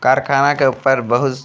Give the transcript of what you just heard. कारखाना के ऊपर बहुस --